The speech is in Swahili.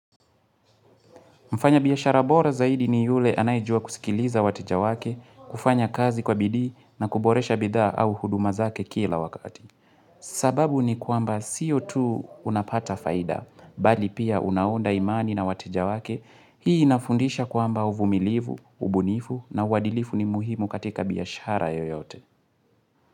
Mfanyabiashara bora zaidi ni yule anayejua kusikiliza wateja wake, kufanya kazi kwa bidii na kuboresha bidhaa au huduma zake kila wakati. Sababu ni kwamba sio tu unapata faida, bali pia unaunda imani na wateja wake, hii inafundisha kwamba uvumilivu, ubunifu na uadilifu ni muhimu katika biashara yoyote.